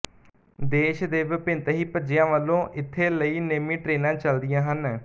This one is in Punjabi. ਦੇਸ਼ ਦੇ ਵਿਭਿੰਨਨਤਹੀਂ ਭੱਜਿਆ ਵਲੋਂ ਇੱਥੇ ਲਈ ਨੇਮੀ ਟਰੇਨਾਂ ਚੱਲਦੀਆਂ ਹਨ